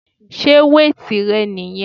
Sé weight rẹ niyẹn?